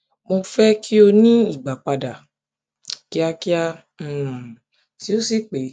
mo fẹ ki o ni ìgbàpadà kíákíá um tó sì pé